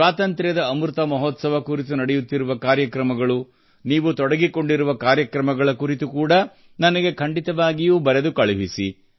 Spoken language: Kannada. ಸ್ವಾತಂತ್ರ್ಯದ ಅಮೃತ ಮಹೋತ್ಸವ ಕುರಿತು ನಡೆಯುತ್ತಿರುವ ಕಾರ್ಯಕ್ರಮಗಳು ನೀವು ತೊಡಗಿಕೊಂಡಿರುವ ಕಾರ್ಯಕ್ರಮಗಳ ಕುರಿತು ಕೂಡಾ ನನಗೆ ಖಂಡಿತವಾಗಿಯೂ ಬರೆದು ಕಳುಹಿಸಿ